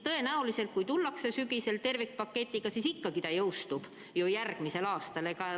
Tõenäoliselt, kui tullakse sügisel välja tervikpaketiga, siis ikkagi ta jõustub järgmisel aastal.